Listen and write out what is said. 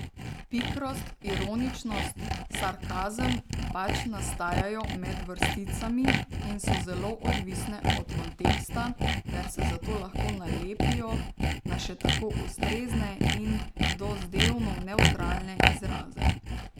Pikrost, ironičnost, sarkazem pač nastajajo med vrsticami in so zelo odvisne od konteksta ter se zato lahko nalepijo na še tako ustrezne in dozdevno nevtralne izraze.